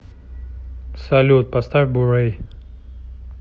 салют поставь бурэй